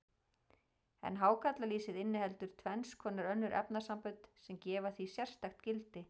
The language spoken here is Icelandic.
En hákarlalýsið inniheldur tvenns konar önnur efnasambönd, sem gefa því sérstakt gildi.